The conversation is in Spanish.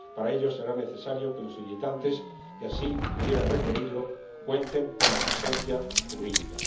para ello será necesario que los solicitantes que así pudieran requerirlo cuenten con asistencia jurídica.